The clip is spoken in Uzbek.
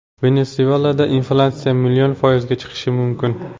Venesuelada inflyatsiya million foizga chiqishi mumkin.